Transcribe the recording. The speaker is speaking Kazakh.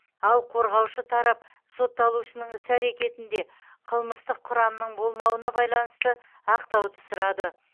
ал қорғаушы тарап сотталушының іс әрекетінде қылмыстық құрамның болмауына байланысты ақтауды сұрады